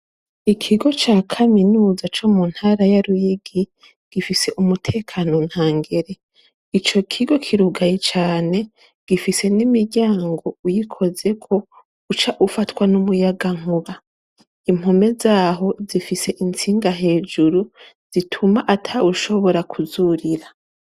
Ikigo ca kaminuza co muntara ya Ruyigi, gifise umutekano ntangere. Ico kigo kirugaye cane , gifise n’imiryango uyikozeko uca ufatwa n’umuyagankuba, impome zaho zifise intsinga hejuru ,zituma atawushobora kuzurira.